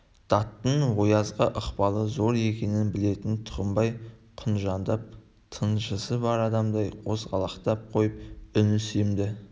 даттың оязға ықпалы зор екенін білетін тұқымбай құнжыңдап тынжысы бар адамдай қозғалақтап қойып үні семді